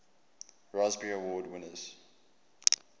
raspberry award winners